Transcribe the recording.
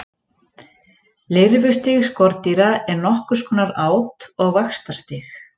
lirfustig skordýra er nokkurs konar át og vaxtarstig